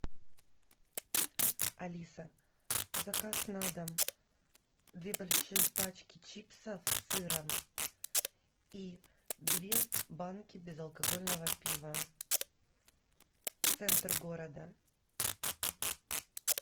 алиса заказ на дом две больших пачки чипсов с сыром и две банки безалкогольного пива центр города